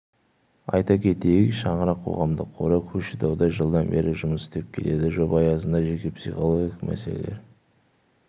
айта кетейік шаңырақ қоғамдық қоры көкшетауда жылдан бері жұмыс істеп келеді жоба аясында жеке психологиялық мәселелер